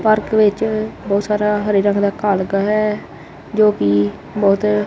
park ਵਿੱਚ ਬਹੁਤ ਸਾਰਾ ਹਰੇ ਰੰਗ ਦਾ ਘਾ ਲੱਗਾ ਹੈ ਜੋ ਕਿ ਬਹੁਤ--